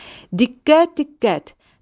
Diqqət, diqqət!